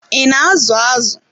I na azu azụ?